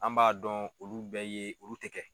An b'a dɔn olu bɛɛ ye olu tɛ kɛ.